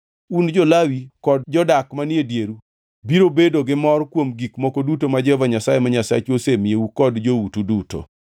Un, jo-Lawi, kod jodak manie dieru biro bedo gimor kuom gik moko duto ma Jehova Nyasaye ma Nyasachu osemiyou kod joutu duto.